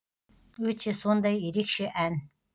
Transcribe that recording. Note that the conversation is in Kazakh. өте сондай ерекше ән